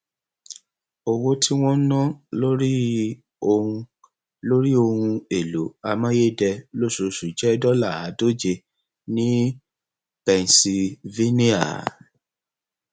owó tí wọn ń ná lórí ohun lórí ohun èlò amáyédẹ lóṣooṣù jẹ dọlà àádóje ní pennsylvania